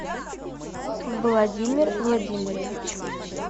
владимир владимирович